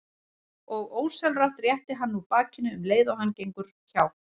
Og ósjálfrátt réttir hann úr bakinu um leið og hann gengur hjá.